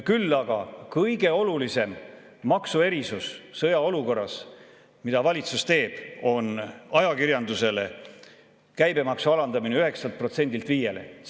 Küll aga kõige olulisem maksuerisus sõjaolukorras, mida valitsus teeb, on ajakirjandus käibemaksu alandamine 9%‑lt 5%‑le.